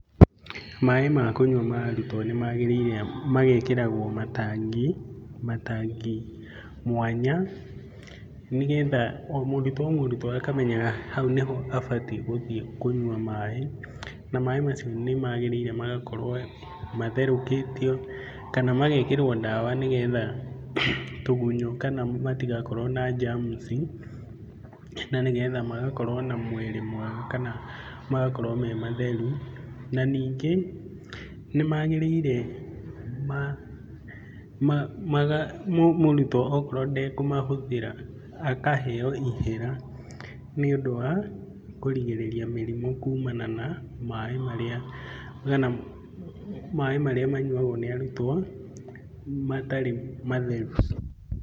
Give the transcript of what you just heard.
Maĩ ma kũnyua ma arutwo nĩmagĩrĩire magekĩragwo matangi, matangi mwanya, nĩgetha o mũrutwo o mũrutwo akamenyaga hau nĩho abatiĩ gũthiĩ kũnyua maĩ. Na, maĩ macio nĩmagĩrĩire magakorwo matherũkĩtio kana magekĩrwo ndawa nĩgetha tũgunyũ kana matigakorwo na germs ci, na nĩgetha magakorwo na mwĩrĩ mwega kana magakorwo me matheru. Na ningĩ nĩmagĩrĩire mũrutwo okorwo ndekũmahũthĩra akaheo ihera nĩũndũ wa kũrigĩrĩria mĩrimũ kumana na maĩ marĩa, kana maĩ marĩa manyuagwo nĩ arutwo matarĩ matheru.